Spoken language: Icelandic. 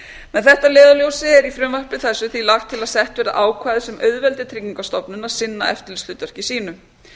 með þetta að leiðarljósi er í frumvarpi þessu því lagt til að sett verði ákvæði sem auðveldi tryggingastofnun að sinna eftirlitshlutverki sínu